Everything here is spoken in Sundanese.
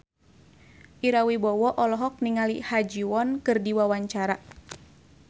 Ira Wibowo olohok ningali Ha Ji Won keur diwawancara